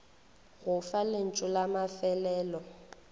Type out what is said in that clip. go fa lentšu la mafelelo